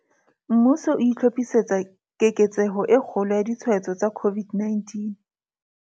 Mmuso o itlhophisetsa keketseho e kgolo ya ditshwaetso tsa COVID-19.